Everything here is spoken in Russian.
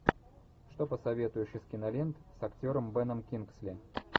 что посоветуешь из кинолент с актером беном кингсли